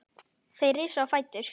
Þeir risu á fætur.